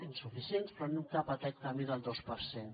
insuficients però anem cap a aquest camí del dos per cent